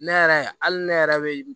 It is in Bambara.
Ne yɛrɛ hali ne yɛrɛ bɛ